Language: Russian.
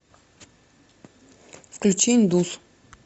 включи индус